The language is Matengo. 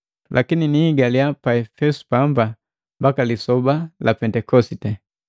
Lakini nihigala pamba pa Epesu mbaka lisoba la Pendekosite.